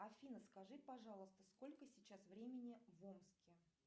афина скажи пожалуйста сколько сейчас времени в омске